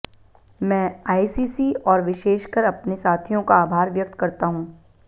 मैं आईसीसी और विशेषकर अपने साथियों का आभार व्यक्त करता हूं